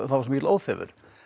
svo mikill óþefur